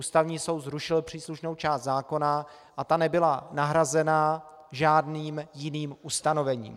Ústavní soud zrušil příslušnou část zákona a ta nebyla nahrazena žádným jiným ustanovením.